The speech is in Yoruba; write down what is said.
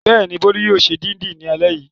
Bẹ́ẹ̀ni, Bólú yóò ṣe dídì ní alẹ́ yìí.